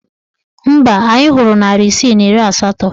Mba, anyị hụrụ narị isii na iri asatọ.